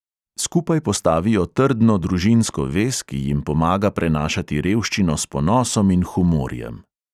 Skupaj postavijo trdno družinsko vez, ki jim pomaga prenašati revščino s ponosom in humorjem.